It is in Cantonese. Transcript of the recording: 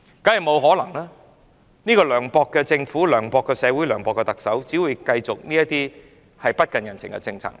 這個涼薄的政府、涼薄的社會、涼薄的特首，只會繼續推行這些不近人情的政策。